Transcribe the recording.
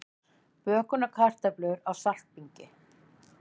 Bökunarkartöflur á saltbingi